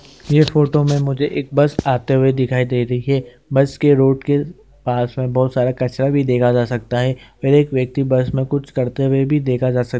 इस फोटो मे मुझे एक बस आते हुए दिखाई दे रही है बस के रोड के पास में बहुत सारा कचड़ा भी देखा जा सकता है फिर एक व्यक्ति बस मे कुछ करता हुआ भी देखा जा सकता है।